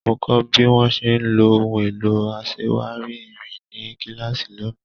Mo kọ́ bí wọ́n ṣe ń lo ohun èlò aṣèwá́rí irin ní kílààsì lónìí.